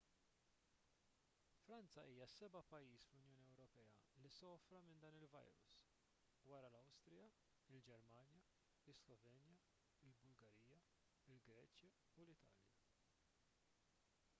franza hija s-seba' pajjiż fl-unjoni ewropea li sofra minn dan il-virus wara l-awstrija il-ġermanja is-slovenja il-bulgarija il-greċja u l-italja